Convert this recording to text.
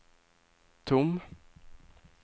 tom